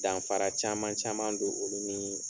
Danfara caman caman don olu ni